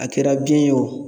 A kɛra biyɛn ye o